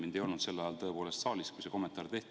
Mind ei olnud sel ajal tõepoolest saalis, kui see kommentaar tehti.